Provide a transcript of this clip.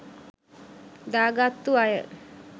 දා ගත්තු අය.